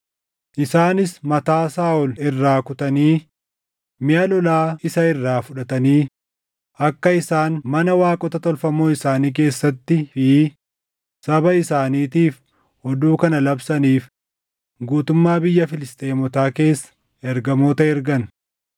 Isaanis mataa Saaʼol irraa kutanii, miʼa lolaa isa irraa fudhatanii akka isaan mana waaqota tolfamoo isaanii keessattii fi saba isaaniitiif oduu kana labsaniif guutummaa biyya Filisxeemotaa keessa ergamoota ergan.